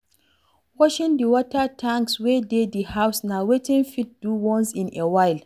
Washing di water tanks wey dey di house na wetin fit do once in a while